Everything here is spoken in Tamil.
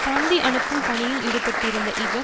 தந்தி அனுப்பும் பணியில் ஈடுபட்டிருந்த இவர்